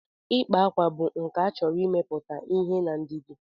Ịkpa akwa bụ nkà chọrọ imepụta ihe na ndidi.